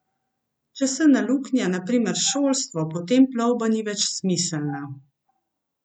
Če se naluknja, na primer, šolstvo, potem plovba ni več smiselna.